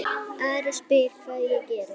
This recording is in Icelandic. Ari spyr hvað ég geri.